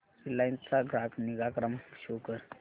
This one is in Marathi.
रिलायन्स चा ग्राहक निगा क्रमांक शो कर